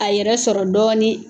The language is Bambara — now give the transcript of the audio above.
A yɛrɛ sɔrɔ dɔɔnin